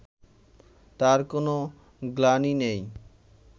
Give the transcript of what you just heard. তার কোনো গ্লানি নেই